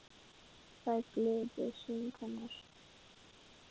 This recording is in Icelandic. Það er gleði í söng hennar